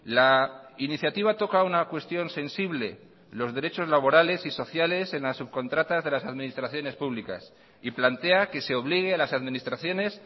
la iniciativa toca una cuestión sensible los derechos laborales y sociales en las subcontratas de las administraciones públicas y plantea que se obligue a las administraciones